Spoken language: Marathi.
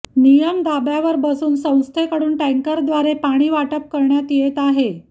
नियम धाब्यावर बसून संस्थेकडून टॅंकरद्वारे पाणी वाटप करण्यात येत आहे